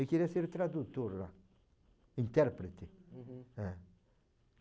Eu queria ser tradutor lá, intérprete. Uhum. É.